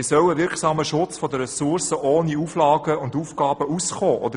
Wie soll ein wirksamer Schutz der Ressourcen ohne Auflagen und Aufgaben auskommen?